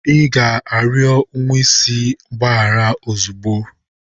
Ị ga-arịọ nwa isi mgbaghara ozugbo!